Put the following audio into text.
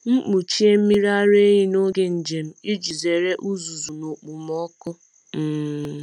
M kpuchie mmiri ara n’oge njem iji zere uzuzu na okpomọkụ. um